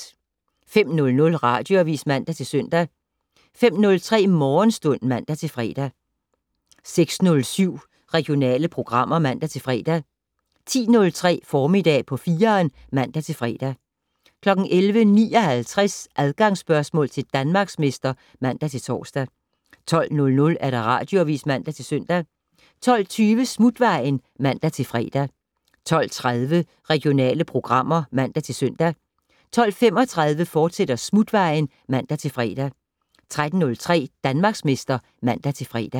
05:00: Radioavis (man-søn) 05:03: Morgenstund (man-fre) 06:07: Regionale programmer (man-fre) 10:03: Formiddag på 4'eren (man-fre) 11:59: Adgangsspørgsmål til Danmarksmester (man-tor) 12:00: Radioavis (man-søn) 12:20: Smutvejen (man-fre) 12:30: Regionale programmer (man-søn) 12:35: Smutvejen, fortsat (man-fre) 13:03: Danmarksmester (man-fre)